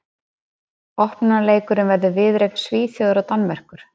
Opnunarleikurinn verður viðureign Svíþjóðar og Danmerkur.